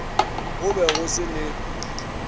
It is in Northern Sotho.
go be go se le